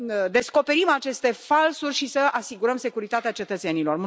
descoperim aceste falsuri și să asigurăm securitatea cetățenilor.